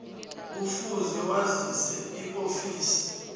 kufuze wazise iofisi